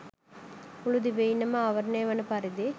මුළු දිවයින ම ආවරණය වන පරිදි